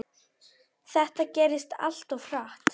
Þetta gerðist allt of hratt.